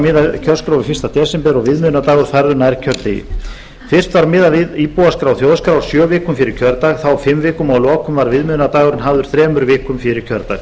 kjörskrá við fyrsta desember og viðmiðunardagur færður nær kjördegi fyrst var miðað við íbúaskrá þjóðskrár sjö vikum fyrir kjördag þá fimm vikum og að lokum var viðmiðunardagurinn hafður þremur vikum fyrir kjördag